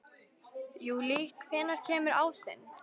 Júlí, hvenær kemur ásinn?